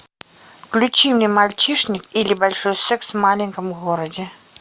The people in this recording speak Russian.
включи мне мальчишник или большой секс в маленьком городе